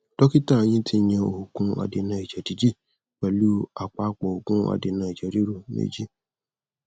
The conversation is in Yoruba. dókítà yín tiyan òògun adènà ẹjẹ dídì pẹlú àpapọ òògùn adènà ẹjẹ ríru méjì